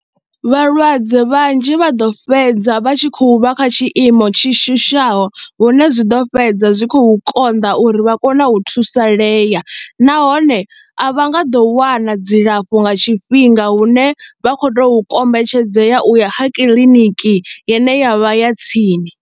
Vhalwadze vhanzhi vha ḓo fhedza vha tshi khou vha kha tshiimo tshi shushaho hune zwi ḓo fhedza zwi khou konḓa uri vha kone u thusalea nahone a vha nga ḓo wana dzilafho nga tshifhinga hune vha khou tou kombetshedzea u ya ha kiḽiniki ine ya vha ya tsini.